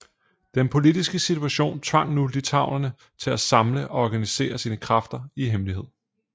Den politiske situation tvang nu litauerne til at samle og organisere sine kræfter i hemmelighed